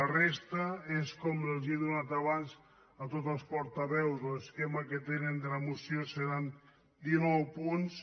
la resta és com els l’he donat abans a tots els portaveus l’esquema que tenen de la moció seran dinou punts